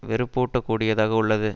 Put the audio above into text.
வெறுப்பூட்டக் கூடியதாக உள்ளது